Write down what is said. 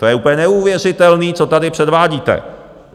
To je úplně neuvěřitelné, co tady předvádíte.